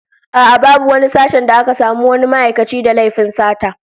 A'a, babu wani sashen da aka samu wani ma'aikaci da laifin sata